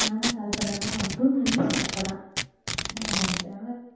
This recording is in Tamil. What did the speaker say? நான்தான் call பண்ணனோ தூங்கி எந்திரிச்சேன் இப்பதான் மறந்துட்டேன்